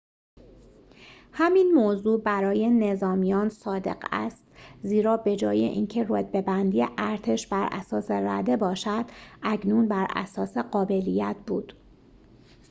همین موضوع برای نظامیان صادق است زیرا بجای این که رتبه‌بندی ارتش براساس رده باشد اکنون براساس قابلیت بود